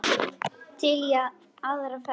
Til í aðra ferð.